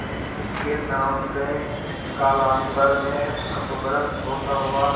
उनके नाम से कालांतर में अपभ्रंश होता हुआ